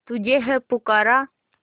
तुझे है पुकारा